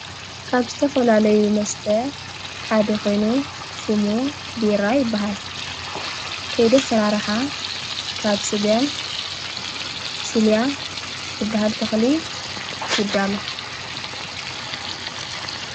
ካብ ዝተፈላለዩ መስተ ሓደ ኾይኑ ሹሙ ቢራ ይበሃል ከይዲ ኣሰራርሓ ካብ ሥገም ሲልያ ዝበሃል ተኽሊ ይዳሎ።